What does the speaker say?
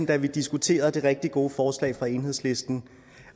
da vi diskuterede det rigtig gode forslag fra enhedslisten